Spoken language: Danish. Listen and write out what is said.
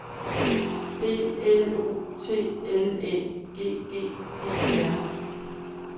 B L O T L Æ G G E R